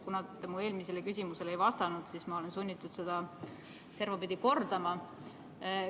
Kuna te mu eelmisele küsimusele ei vastanud, siis ma olen sunnitud seda servapidi kordama.